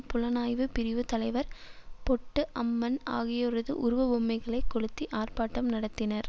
புலனாய்வு பிரிவு தலைவர் பொட்டு அம்மன் ஆகியோரது உருவ பொம்மைகளை கொளுத்தி ஆர்ப்பாட்டம் நடத்தினர்